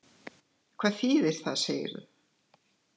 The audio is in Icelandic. Hvað þýðir það, segirðu?